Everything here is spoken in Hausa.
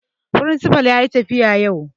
Firinsifa yayi tafiya yau